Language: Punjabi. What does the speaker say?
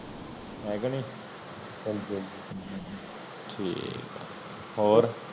ਹੈ ਕੇ ਨੀ ਹਾਂਜੀ ਹਾਂਜੀ ਠੀਕ ਹੈ ਹੋਰ